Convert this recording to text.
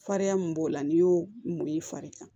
Farinya min b'o la n'i y'o mun ye i fari kan